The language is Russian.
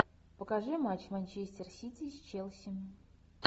покажи матч манчестер сити с челси